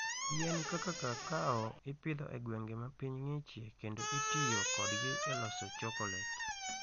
Yien kaka kakao ipidho e gwenge ma piny ng'ichie kendo itiyo kodgi e loso chokolet.